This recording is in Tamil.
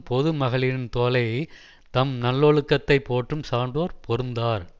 பொது மகளிரின் தோளை தம் நல்லோழுக்கத்தைப் போற்றும் சான்றோர் பொருந்தார்